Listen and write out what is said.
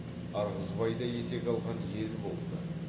ырғызбай да етек алған ел болды